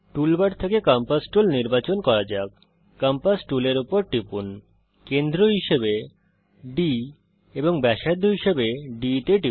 টুল bar থেকে compass tool নির্বাচন করা যাক কম্পাস টুলের উপর টিপুন কেন্দ্র হিসাবে D এবং ব্যাসার্ধ হিসাবে ডিই তে টিপুন